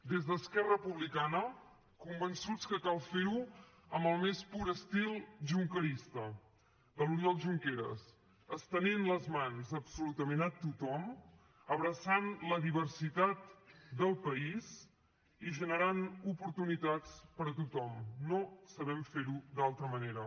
des d’esquerra republicana convençuts que cal fer ho amb el més pur estil junquerista de l’oriol junqueras estenent les mans absolutament a tothom abraçant la diversitat del país i generant oportunitats per a tothom no sabem fer ho d’altra manera